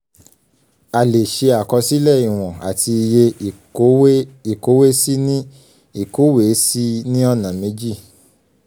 a lè ṣe àkọsílẹ̀ ìwọ̀n àti iye ìkówèésí ní ìkówèésí ní ọ̀nà méjì